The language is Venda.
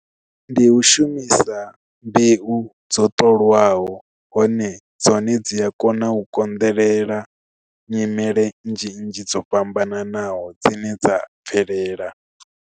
Ndi u shumisa mbeu dzo ṱolwaho hone dzone dzi a kona u konḓelela nyimele nnzhi nnzhi dzo fhambananaho dzine dza bvelela.